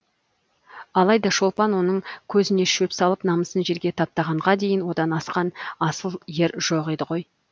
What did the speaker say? алайда шолпан оның көзіне шөп салып намысын жерге таптағанға дейін одан асқан асыл ер жоқ еді ғой